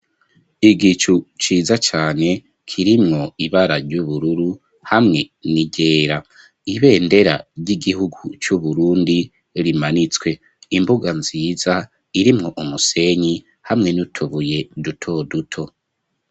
Igicu ,ciza cane,, kirimwo ibara ry'ubururu ,hamwe n'iryera ,ibendera ry'igihugu c'uburundi rimanitswe ,imbuga nziza irimwo umusenyi hamwe n'utubuye duto duto.